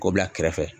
K'o bila kɛrɛfɛ